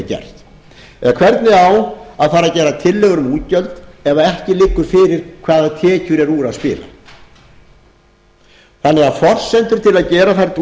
gert eða hvernig á að fara að gera tillögur um útgjöld ef ekki liggur fyrir hvaða tekjum er úr að spila forsendur til að gera þær